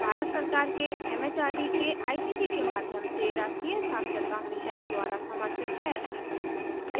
यह भारत सरकार के एमएचआरडी के आईसीटी के माध्यम से राष्ट्रीय साक्षरता मिशन पर आधारित है